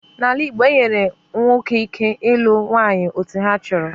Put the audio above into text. N'ala igbo, e nyere ụmụ nwoke ike ilu nwanyị ole ha chọrọ